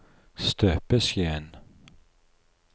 støpeskjeen